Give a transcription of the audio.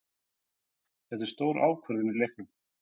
Þetta er stór ákvörðun í leiknum.